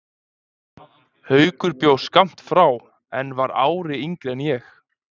Haukur bjó skammt frá en hann var ári yngri en ég.